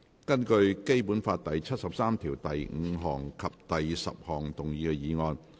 根據《基本法》第七十三條第五項及第十項動議的議案。